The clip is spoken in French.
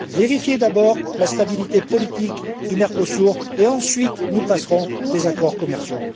Vérifiez d'abord la stabilité politique du Mercosur et, ensuite, nous conclurons des accords commerciaux.